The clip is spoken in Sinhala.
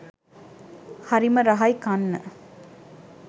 හරිම රහයි කන්න.